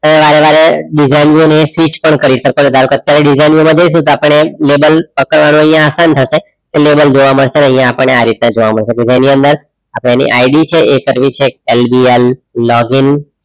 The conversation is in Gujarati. વારેવારે design view ની switch પણ કરી શકો છો ધારો કે અત્યારે design view મા જઈશું તો આપણને label પકડવાનું અહીંયા આસાન થશે label જોવા મળશે અને અહીંયા આપણને આ રીતે જોવા મળશે label ની અંદર આપણે એની ID છે એ કરવી છે LGRlogin